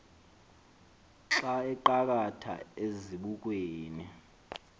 xa aqakatha ezibukweni